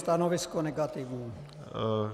Stanovisko negativní.